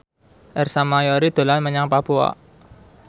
Ersa Mayori dolan menyang Papua